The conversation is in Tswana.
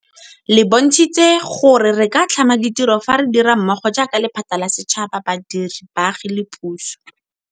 Le bontshitse gore re ka tlhama ditiro fa re dira mmogo jaaka lephata la setšhaba, badiri, baagi le puso.